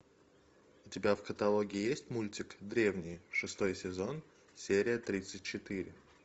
у тебя в каталоге есть мультик древние шестой сезон серия тридцать четыре